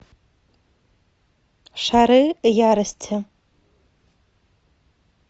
шары ярости